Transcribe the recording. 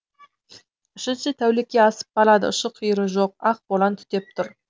үшінші тәулікке асып барады ұшы қиыры жоқ ақ боран түтеп тұр